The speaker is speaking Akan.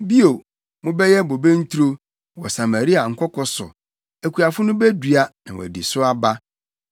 Bio, mobɛyɛ bobe nturo wɔ Samaria nkoko so; akuafo no bedua na wɔadi so aba.